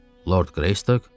Lord Greystok!